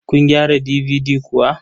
Kun gyara DVD kuwa?